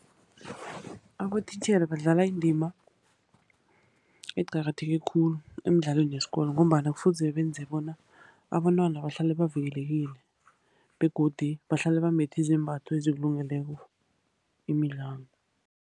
Abotitjhere badlala indima eqakatheke khulu emidlalweni yeskolo, ngombana kufuze benze bona abentwana bahlale bavikelekile, begodu bahlale bambethe izembatho ezikulungeleko imidlalo.